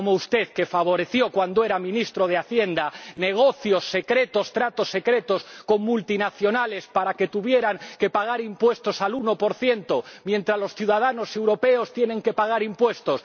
Como usted, que favoreció —cuando era ministro de Hacienda— negocios secretos, tratos secretos con multinacionales para que tuvieran que pagar impuestos al 1 mientras los ciudadanos europeos tienen que pagar impuestos.